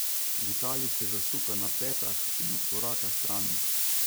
Vitalij se zasuka na petah in odkoraka stran.